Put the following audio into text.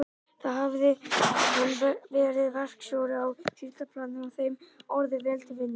Þar hafði hann verið verkstjóri á síldarplani og þeim orðið vel til vina.